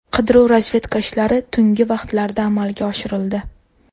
Qidiruv-razvedka ishlari tungi vaqtlarda amalga oshirildi.